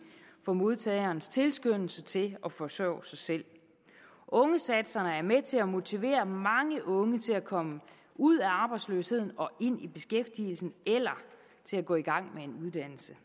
for modtagernes tilskyndelse til at forsørge sig selv ungesatserne er med til at motivere mange unge til at komme ud af arbejdsløsheden og ind i beskæftigelse eller til at gå i gang med en uddannelse